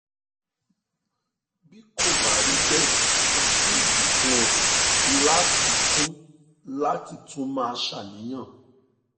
bí kò bá rí bẹ́ẹ̀ kò sí ìdí fún ẹ láti tún láti tún máa ṣàníyàn